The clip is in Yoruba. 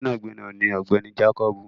Gbẹ́nàgbẹ́nà ni ọ̀gbẹ́ni jákọ́bù